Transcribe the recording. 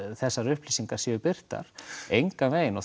þessar upplýsingar séu birtar engan veginn og